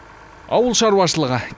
ауыл шаруашылығы